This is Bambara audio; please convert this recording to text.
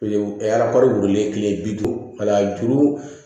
wililen tile bi duuru wala duuru